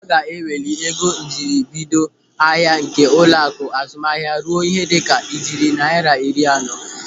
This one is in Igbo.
Aga eweli ego njiribido ahịa nke ụlọaku azụmahịa ruo ihe dịka ijeri naira iri anọ.